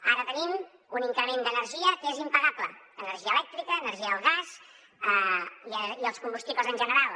ara tenim un increment de l’energia que és impagable energia elèctrica energia del gas i els combustibles en general